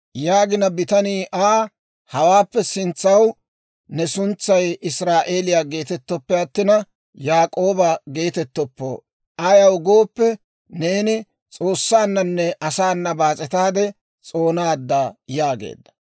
Bitanii Aa, «Hawaappe sintsaw ne suntsay Israa'eeliyaa geetettooppe attina, Yaak'ooba geetettoppo; ayaw gooppe, neeni S'oossaananne asaana baas'etaade s'oonaadda» yaageedda.